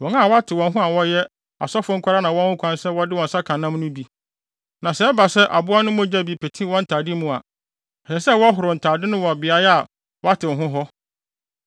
Wɔn a wɔatew wɔn ho a wɔyɛ asɔfo nko ara na wɔwɔ ho kwan sɛ wɔde wɔn nsa ka nam no bi; na sɛ ɛba sɛ aboa no mogya bi pete wɔn ntade mu a, ɛsɛ sɛ wɔhoro ntade no wɔ beae a wɔatew ho hɔ.